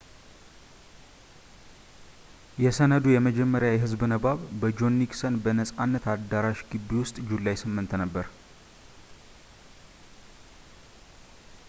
የሰነዱ የመጀመሪያ የህዝብ ንባብ በጆን ኒክሰን በነጻነት አዳራሽ ግቢ ውስጥ ጁላይ 8 ነበር